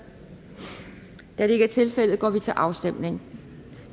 da det ikke er tilfældet går vi til afstemning